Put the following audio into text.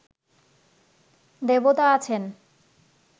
দেবতা আছেন